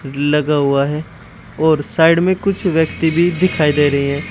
लगा हुआ है और साइड में कुछ व्यक्ति भी दिखाई दे रहे है।